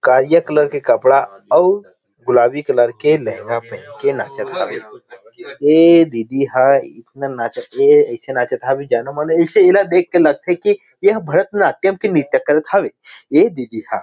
कारिया कलर के कपड़ा अउ गुलाबी कलर के लेहंगा पहेन के नाचत हावे ऐ दीदी ह इतना नाचत हे ऐसे नाचत हे की जानों मानों एला देख की लगा थे की एहा भरतनाट्यम के नृत्य करत हवे ए दीदी ह।